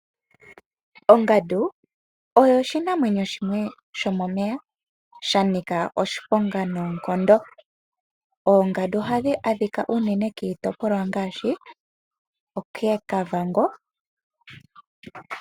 Ongandu oyo oshinamwenyo shimwe sho momeya shanika oshiponga noonkondo. Oongandu ohadhi a dhika unene kiitopolwa ngaashi koKavango.